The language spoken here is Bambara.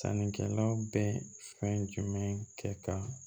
Sannikɛlaw bɛ fɛn jumɛn kɛ ka